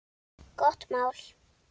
Gott mál.